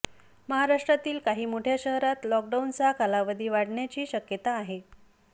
महाराष्ट्रातील काही मोठ्या शहरात लॉकडाऊनचा कालावधी वाढण्याची शक्यता आहे